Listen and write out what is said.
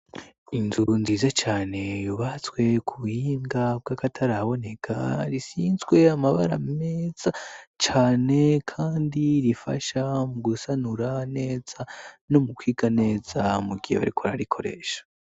inzu nziza cane yubatswe ku buhinga bw'akataraboneka risizwe amabara meza cane kandi rifasha mu gusanura neza no mu kwiga neza mugihe bariko bararikoresha